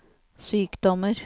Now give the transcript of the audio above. sykdommer